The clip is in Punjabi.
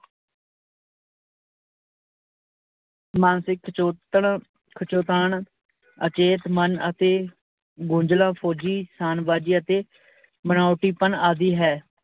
ਮਾਨਸਿਕ ਖਿਚੋਤਣ ਖਿਚੋਤਾਣ ਅਚੇਤ ਮਨ ਅਤੇ ਅਤੇ ਬਣਾਉਟੀਪਣ ਆਦਿ ਹੈ।